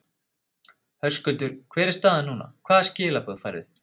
Höskuldur: Hver er staðan núna, hvaða skilaboð færðu?